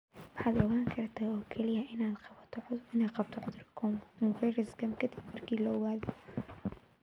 Waxaad ogaan kartaa oo kaliya inaad qabto cudurka coronavirus ka dib marka lagu ogaado.